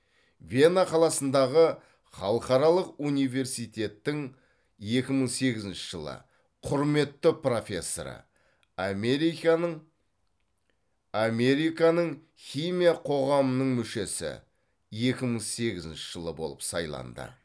вена қаласындағы халықаралық университеттің екі мың сегізінші жылы құрметті профессоры американың американың химия қоғамының мүшесі екі мың сегізінші жылы болып сайланды